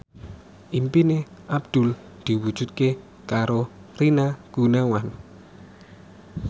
impine Abdul diwujudke karo Rina Gunawan